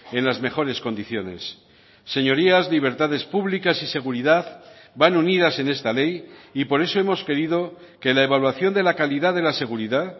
en las mejores condiciones señorías libertades públicas y seguridad van unidas en esta ley y por eso hemos querido que la evaluación de la calidad de la seguridad